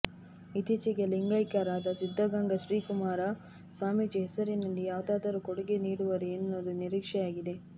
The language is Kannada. ಇತ್ತೀಚೆಗೆ ಲಿಂಗೈಕ್ಯರಾದ ಸಿದ್ಧಗಂಗಾ ಶ್ರೀ ಶಿವಕುಮಾರ ಸ್ವಾಮೀಜಿ ಹೆಸರಿನಲ್ಲಿ ಯಾವುದಾದರೂ ಕೊಡುಗೆ ನೀಡುವರೇ ಎನ್ನುವುದು ನಿರೀಕ್ಷೆಯಾಗಿದೆ